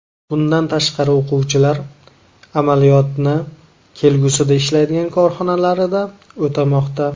Bundan tashqari o‘quvchilar amaliyotni kelgusida ishlaydigan korxonalarida o‘tamoqda.